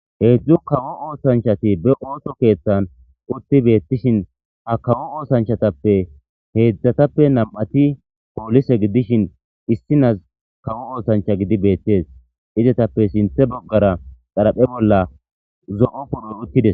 Heedzdzu kawo oosanchati be ooto keeththan utti beettishin ha kawo oosanchatappe heedzdzatappe nam'ati poolise gidishin issinas kawo oosancha gidi beettes izetappe sinthe boggara xaraphe bolla zo'o ponon uttides.